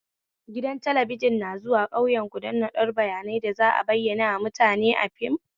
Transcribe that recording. Gidan talabijin na zawu ƙauyaku don naɗan bayanai da za'a bayanarwa da mutane fim